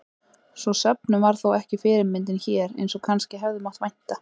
Sú söfnun varð þó ekki fyrirmyndin hér eins og kannski hefði mátt vænta.